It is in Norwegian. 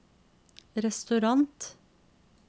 restaurant